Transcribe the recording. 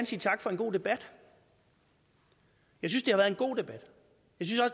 sige tak for en god debat jeg synes det har været en god debat